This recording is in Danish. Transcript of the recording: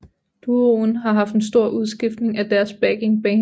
Duoen har haft en stor udskiftning af deres backingband